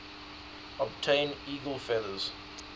obtain eagle feathers